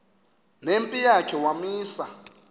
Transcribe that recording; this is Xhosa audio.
nempi yakhe wamisa